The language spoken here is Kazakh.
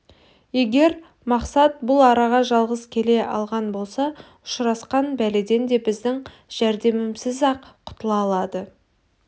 егер мақсат бұл араға жалғыз келе алған болса ұшырасқан бәледен де біздің жәрдемімізсіз-ақ құтыла алады